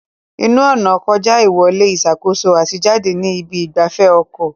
Ẹnu-ọ̀nà kọjá ìwọlé ìṣàkóso àti jáde ní ibi ìgbafẹ́ ọkọ̀.